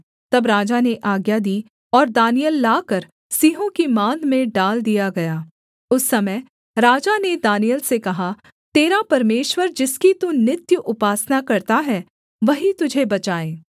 तब राजा ने आज्ञा दी और दानिय्येल लाकर सिंहों की माँद में डाल दिया गया उस समय राजा ने दानिय्येल से कहा तेरा परमेश्वर जिसकी तू नित्य उपासना करता है वही तुझे बचाए